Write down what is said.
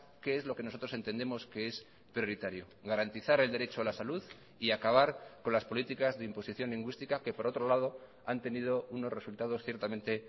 qué es lo que nosotros entendemos que es prioritario garantizar el derecho a la salud y acabar con las políticas de imposición lingüística que por otro lado han tenido unos resultados ciertamente